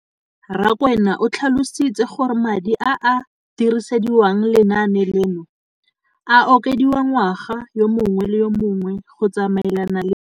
Rakwena o tlhalositse gore madi a a dirisediwang lenaane leno a okediwa ngwaga yo mongwe le yo mongwe go tsamaelana le.